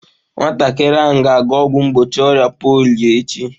Nwatakịrị ahụ ga-aga ọgwụ mgbochi ọrịa polio echi